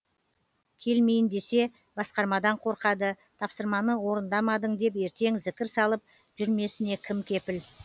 келмейін десе басқармадан қорқады тапсырманы орындамадың деп ертең зікір салып жүрмесіне кім кепіл